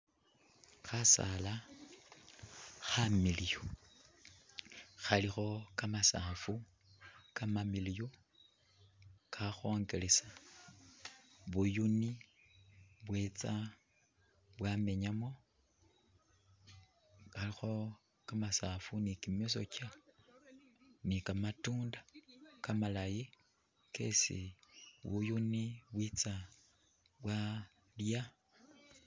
Khasaala khamiliyu khalikho kamasafu kamamiliyu kakhongelesa buyuuni bwetsa bwamenyamu. Mbakho kamasaafu ni kimisokya ni kamatunda kamalayi kesi ni buyuni bwitsa bwalya.